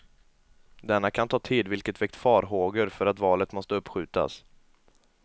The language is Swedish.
Denna kan ta tid, vilket väckt farhågor för att valet måste uppskjutas.